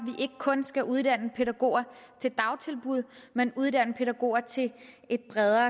ikke kun skal uddanne pædagoger til dagtilbud men uddanne pædagoger til et bredere